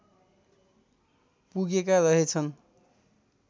पुगेका रहेछन्